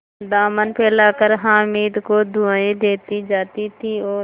दामन फैलाकर हामिद को दुआएँ देती जाती थी और